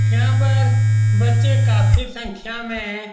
यहाँ पर बच्चे काफी संख्या में है।